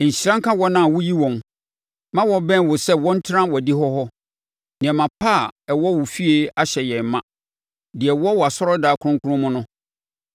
Nhyira nka wɔn a woyi wɔn ma wɔbɛn wo sɛ wɔntena wʼadihɔ hɔ! Nneɛma pa a ɛwɔ wo fie ahyɛ yɛn ma, deɛ ɛwɔ wʼasɔredan kronkron mu no.